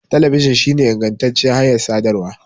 Talabijin shine ingantaccen hanyar sadarwa.